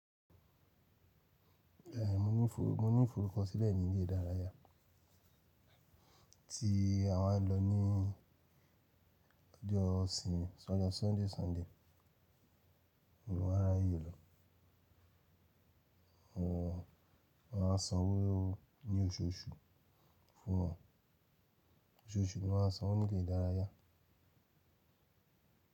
Eh, mo ní ìforúkọsílẹ̀ ní ilé ìdárayá tí àwa ń lọ ní ọjọ́ ìsinmi s'ojo Sunday, Sunday. O wa ráyè lọ, wọn a san owó ní oṣooṣù fún wọn. Oṣooṣù ni wọ́n a san wọ́n ní ilé ìdárayá.